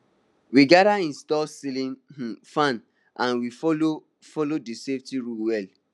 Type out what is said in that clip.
we gather install celling um fan and we follow follow di safety rules well